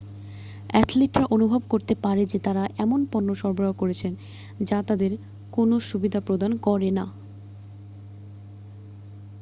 অ্যাথলিটরা অনুভব করতে পারে যে তারা এমনও পণ্য ব্যবহার করছেন যা তাদের কোনও সুবিধা প্রদান করে না